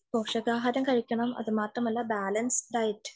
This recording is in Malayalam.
പോഷകാഹാരം കഴിക്കണം അതുമാത്രമല്ല ബാലൻസ്‌ഡ്‌ ഡയറ്